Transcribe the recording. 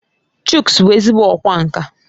Chuks bụ ezigbo ọkwá nkà